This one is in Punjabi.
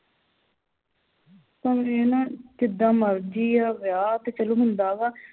ਹੁਣ ਵੇਖਲਾ ਜਿੱਦਾ ਮਰਜੀ ਆ ਵਿਆਹ ਤੇ ਚਲੋ ਹੁੰਦਾ ਵਾ